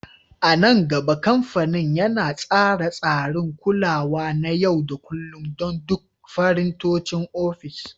A nan gaba, kamfanin yana tsara tsarin kulawa na yau da kullun don duk firintocin ofis.